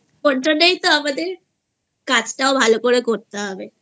ওর জন্যই তো আমাদের কাজটাও ভালো করে করতে হবেI